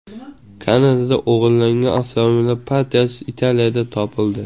Kanadada o‘g‘irlangan avtomobillar partiyasi Italiyada topildi.